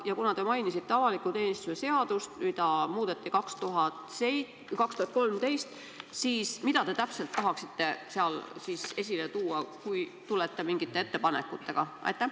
Ja kuna te mainisite avaliku teenistuse seadust, mida muudeti aastal 2013, siis mida te täpselt tahaksite sealt esile tuua, kui tulete mingite ettepanekutega?